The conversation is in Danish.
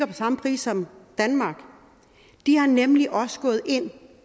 på samme pris som danmark de er nemlig også gået ind